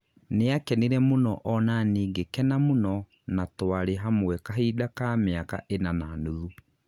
nĩakenire mũno onanĩ ngĩkena mũno na twarĩ hamwe kahinda ka mĩaka ĩna na nuthu